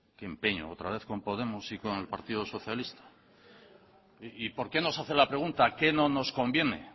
qué empeño otra vez con podemos y con el partido socialista y por qué no se hace la pregunta qué no nos conviene